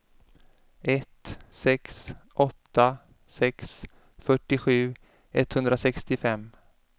ett sex åtta sex fyrtiosju etthundrasextiofem